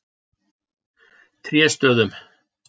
Tréstöðum